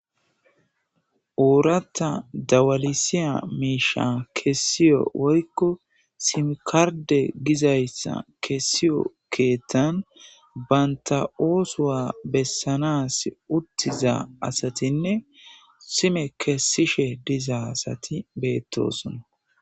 Oorata dawalisiya miisha kessiyo woykko simkarde gizayssa kessiyo keettan banta oosowa bessanas uttiza asatinne sime kessishe diza asati beettosona.